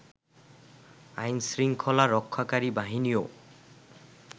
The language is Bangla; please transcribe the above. আইনশৃংখলা রক্ষাকারী বাহিনীও